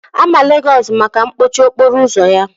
A ma Legosu maka mkpọchi okporo ụzọ ya.